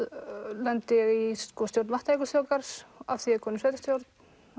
lendi ég í stjórn Vatnajökulsþjóðgarðs af því ég er komin í sveitarstjórn